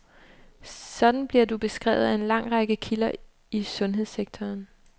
Sådan bliver du beskrevet af en lang række kilder i sundhedssektoren.